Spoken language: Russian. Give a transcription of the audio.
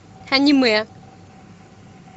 аниме